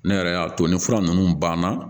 Ne yɛrɛ y'a to ni fura nunnu banna